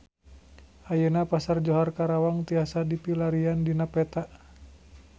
Ayeuna Pasar Johar Karawang tiasa dipilarian dina peta